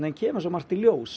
kemur svo margt í ljós